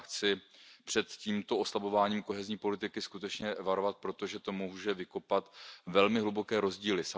Já chci před tímto oslabováním kohézní politiky skutečně varovat, protože to může vykopat velmi hluboké rozdíly.